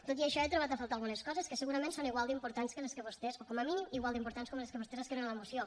tot i això hi he trobat a faltar algunes coses que segurament són igual d’importants o com a mínim igual d’importants que les que vostès escriuen a la moció